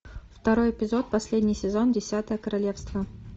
второй эпизод последний сезон десятое королевство